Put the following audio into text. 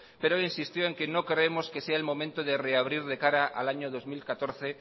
pero insistió en que no creemos que sea el debate de reabrir de cara al año dos mil catorce